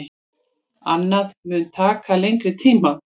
Annað mun taka lengri tíma.